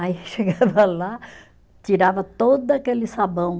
Aí chegava lá, tirava todo aquele sabão.